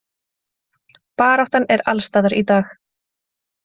Baráttan er alls staðar í dag.